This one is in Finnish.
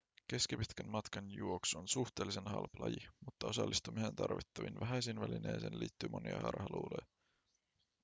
keskipitkän matkan juoksu on suhteellisen halpa laji mutta osallistumiseen tarvittaviin vähäisiin välineisiin liittyy monia harhaluuloja